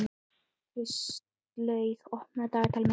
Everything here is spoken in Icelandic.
Kristlaug, opnaðu dagatalið mitt.